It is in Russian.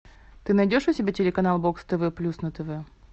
ты найдешь у себя телеканал бокс тв плюс на тв